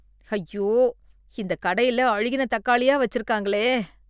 ஐயோ! இந்த கடையில அழுகின தக்காளியா வச்சிருக்காங்களே